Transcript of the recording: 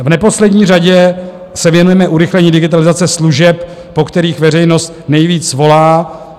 V neposlední řadě se věnujeme urychlení digitalizace služeb, po kterých veřejnost nejvíc volá.